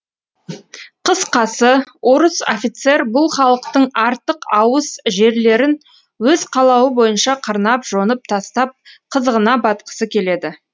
қысқасы орыс офицер бұл халықтың артық ауыс жерлерін өз қалауы бойынша қырнап жонып тастап қызығына батқысы келеді